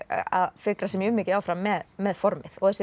að fikra sig mjög mikið áfram með með formið og þessi